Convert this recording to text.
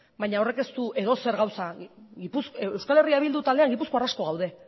baina horrek ez du edozer gauza euskal herria bildu taldean gipuzkoar asko gaude